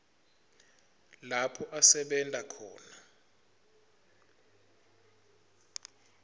lapho asebenta khona